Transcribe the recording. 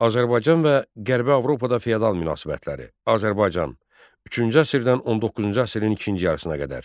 Azərbaycan və Qərbi Avropada feodal münasibətləri, Azərbaycan üçüncü əsrdən 19-cu əsrin ikinci yarısına qədər.